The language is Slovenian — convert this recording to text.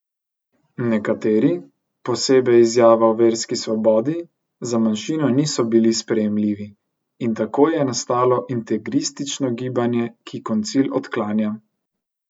Nekateri, posebej Izjava o verski svobodi, za manjšino niso bili sprejemljivi, in tako je nastalo integristično gibanje, ki koncil odklanja.